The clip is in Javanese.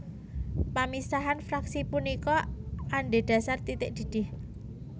Pamisahan fraksi punika adhédhasar titik didih